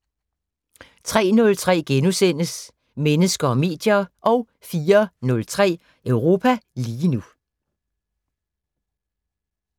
03:03: Mennesker og medier * 04:03: Europa lige nu